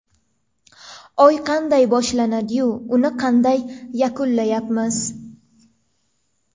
Oy qanday boshlandi-yu, uni qanday yakunlayapmiz?